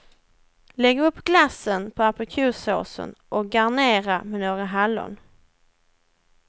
Lägg upp glassen på aprikossåsen och garnera med några hallon.